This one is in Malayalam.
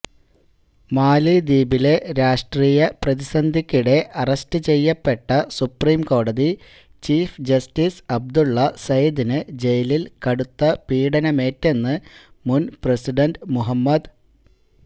മാലിദ്വീപിലെ രാഷ്ട്രീയപ്രതിസന്ധിക്കിടെ അറസ്റ്റ് ചെയ്യപ്പെട്ട സുപ്രിംകോടതി ചീഫ് ജസ്റ്റിസ് അബ്ദുള്ള സയിദിന് ജയിലില് കടുത്ത പീഡനമേറ്റെന്ന് മുന് പ്രസിഡന്റ് മുഹമ്മദ്